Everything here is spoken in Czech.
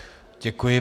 Děkuji.